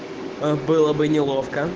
было бы неловко